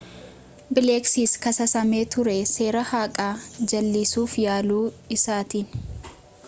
bileekis kasaasame ture seera haqaa jal'isuuf yaalu isaatiin